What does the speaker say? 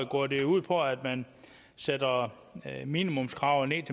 går det ud på at man sætter minimumskravet